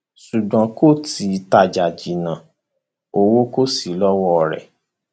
ṣùgbọn kò tí ì tajà jìnnà owó kò sí lọwọ rẹ